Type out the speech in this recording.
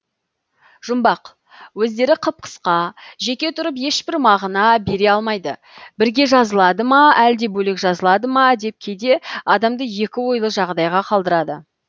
жұмбақ өздері қып қысқа жеке тұрып ешбір мағына бере алмайды бірге жазылады ма әлде бөлек жазылады ма деп кейде адамды екі ойлы жағдайға қалдырады